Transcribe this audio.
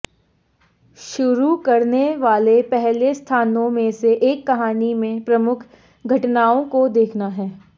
शुरू करने वाले पहले स्थानों में से एक कहानी में प्रमुख घटनाओं को देखना है